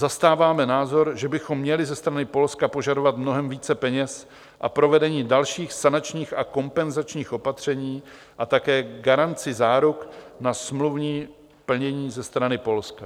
Zastáváme názor, že bychom měli ze strany Polska požadovat mnohem více peněz a provedení dalších sanačních a kompenzačních opatření a také garanci záruk na smluvní plnění ze strany Polska.